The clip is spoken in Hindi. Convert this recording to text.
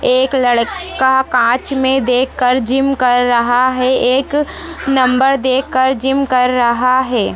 एक लड़का कांच मे देख कर जीम कर रहा है एक नंबर देख कर जिम कर रहा है।